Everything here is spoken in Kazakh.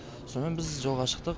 сомен біз жолға шықтық